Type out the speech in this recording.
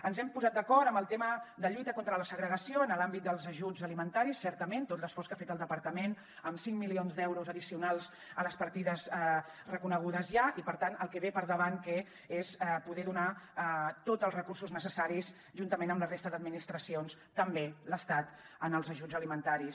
ens hem posat d’acord amb el tema de lluita contra la segregació en l’àmbit dels ajuts alimentaris certament tot l’esforç que ha fet el departament amb cinc milions d’euros addicionals a les partides reconegudes ja i per tant el que ve per davant que és poder donar tots els recursos necessaris juntament amb la resta d’administracions també l’estat en els ajuts alimentaris